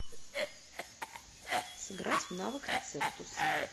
сыграть в навык рецептус